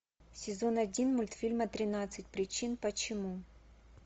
сезон один мультфильма тринадцать причин почему